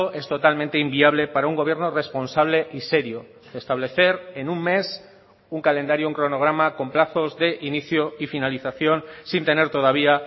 es totalmente inviable para un gobierno responsable y serio establecer en un mes un calendario un cronograma con plazos de inicio y finalización sin tener todavía